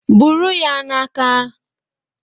Buru ya n'aka.